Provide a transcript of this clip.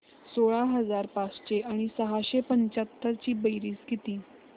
सोळा हजार पाचशे आणि सहाशे पंच्याहत्तर ची बेरीज किती